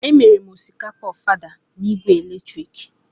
Emere m osikapa ofada na igwe eletrik.